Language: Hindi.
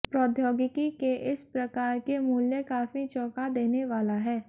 प्रौद्योगिकी के इस प्रकार के मूल्य काफी चौंका देने वाला है